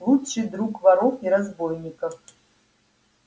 лучший друг воров и разбойников